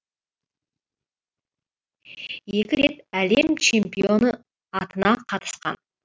екі рет әлем чемпионы атына қатысқан